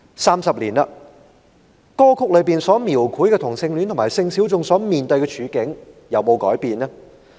三十年過去，歌曲中所描繪同性戀和性小眾所面對的處境，有沒有改變呢？